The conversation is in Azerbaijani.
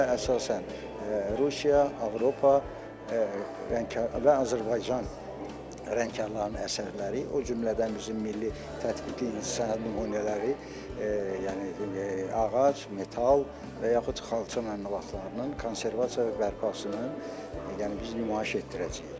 Sərgidə əsasən Rusiya, Avropa rəngkarlarının və Azərbaycan rəngkarlarının əsərləri, o cümlədən bizim milli tətbiqi incəsənət nümunələri, yəni ağac, metal və yaxud xalça məmulatlarının konservasiya bərpasının, yəni biz nümayiş etdirəcəyik.